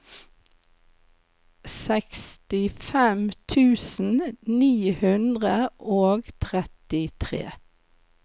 sekstifem tusen ni hundre og trettitre